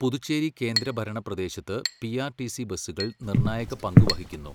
പുതുച്ചേരി കേന്ദ്രഭരണ പ്രദേശത്ത് പിആർടിസി ബസുകൾ നിർണായക പങ്ക് വഹിക്കുന്നു